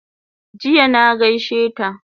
Jiya na gaishe ta